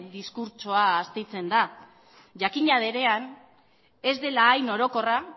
diskurtsoa astintzen da jakina denean ez dela hain orokorra